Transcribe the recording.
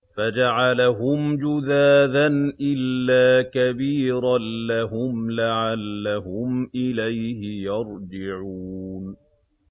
فَجَعَلَهُمْ جُذَاذًا إِلَّا كَبِيرًا لَّهُمْ لَعَلَّهُمْ إِلَيْهِ يَرْجِعُونَ